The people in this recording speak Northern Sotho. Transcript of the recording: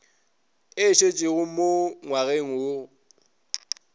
e šetšego mo ngwageng go